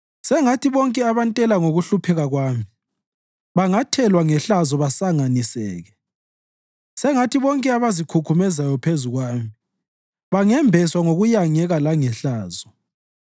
Sengathi bonke abantela ngokuhlupheka kwami bangathelwa ngehlazo basanganiseke; sengathi bonke abazikhukhumezayo phezu kwami bangembeswa ngokuyangeka langehlazo.